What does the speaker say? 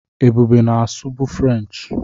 Ebube na-asụ bụ Frenchị.